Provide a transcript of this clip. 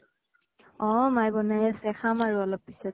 অ মায়ে বনাই আছে। খাম আৰু অলপ পিছত।